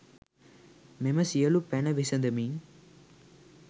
මෙම සියලු පැන විසඳමින්